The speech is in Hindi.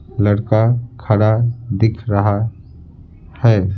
लड़का खड़ा दिख रहा है।